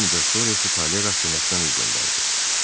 Bir müddət sonra isə Talye Rastinyakdan üz döndərdi.